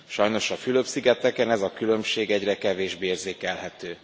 Sajnos a Fülöp szigeteken ez a különbség egyre kevésbé érzékelhető.